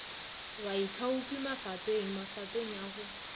baithaopi mafapeng mafapeng a go